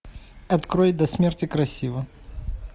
открой до смерти красива